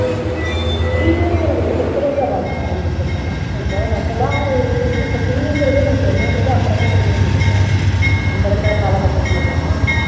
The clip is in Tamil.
ten ங்குறது எப்போல இருந்து அவாளுக்கு ஆரம்பிக்கும் அக்கா இப்போ நம்ம எல்லாம் இப்போ teen ங்குறதே நமக்கு என்னன்றதே அப்பறம் தான் தெரிய வந்துது இல்லையா நம்ம இருக்குற காலக்கட்டத்துல எல்லாம்